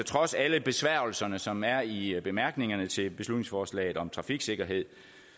trods alle besværgelserne som er i bemærkningerne til beslutningsforslaget om trafiksikkerhed